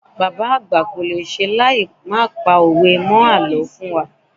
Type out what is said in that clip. Bàbá àgbà kolese láì má pa òwe mó àlọ́ fún wa.